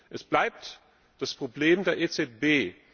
Es bleibt das Problem der EZB.